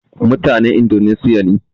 Mutanen Indoneshiya ne